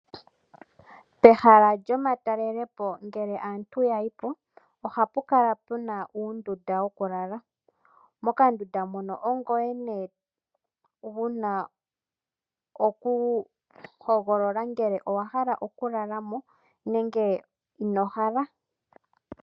Pehala lyomatalelepo, oha pu kala pu na uundunda wokulala. Mokandunda mono ongoye nee wu na okuhogolola ngele owahala okulala mo nenge inohala.